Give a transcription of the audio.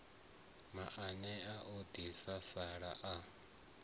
maanea a ḓi sala a